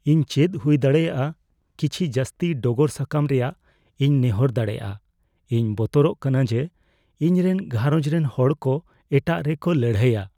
ᱤᱧ ᱪᱮᱫ ᱦᱩᱭᱫᱟᱲᱮᱭᱟᱜᱼᱟ ᱠᱤᱪᱷᱤ ᱡᱟᱹᱥᱛᱤ ᱰᱚᱜᱚᱨ ᱥᱟᱠᱟᱢ ᱨᱮᱭᱟᱜ ᱤᱧ ᱱᱮᱦᱚᱨ ᱫᱟᱲᱮᱭᱟᱜᱼᱟ ? ᱤᱧ ᱵᱚᱛᱚᱨᱚᱜ ᱠᱟᱱᱟ ᱡᱮ, ᱤᱧ ᱨᱮᱱ ᱜᱷᱟᱨᱚᱸᱡᱽ ᱨᱮᱱ ᱦᱚᱲ ᱠᱚ ᱮᱴᱟᱜ ᱨᱮ ᱠᱚ ᱞᱟᱹᱲᱦᱟᱹᱭᱼᱟ ᱾